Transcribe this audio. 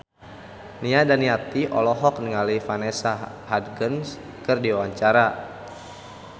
Nia Daniati olohok ningali Vanessa Hudgens keur diwawancara